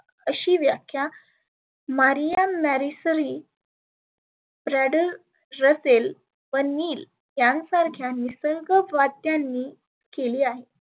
आशी व्याख्या marium marrysaly Bradel russell व Niel यां सारख्या निसर्ग व्दात्यांनी केली आहे.